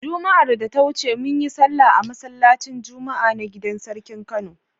Juma'ar da ta wuce mun yi sallah a masallacin Juma'a na gidar sarkin Kano.